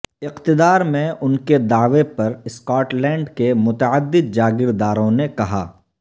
اقتدار میں ان کے دعوی پر اسکاٹ لینڈ کے متعدد جاگیر داروں نے کہا